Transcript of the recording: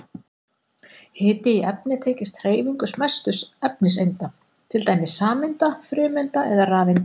Hiti í efni tengist hreyfingu smæstu efniseinda, til dæmis sameinda, frumeinda eða rafeinda.